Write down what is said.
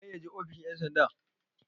waye ya je ofishin ' yansanda?